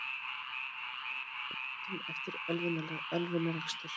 Sviptur ökuréttindum eftir ölvunarakstur